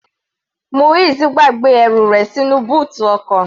Muiz gbàgbé ẹrù rẹ̀ sínú bóòtù ọkọ̀.